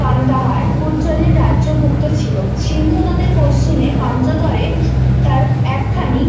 কান্দাহার এর রাজ্য ভুক্ত ছিলো সিন্ধ নদের পশ্চিময়ে পাঞ্জতরে তার একখানি